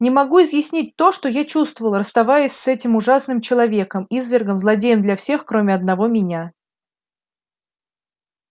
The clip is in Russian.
не могу изъяснить то что я чувствовал расставаясь с этим ужасным человеком извергом злодеем для всех кроме одного меня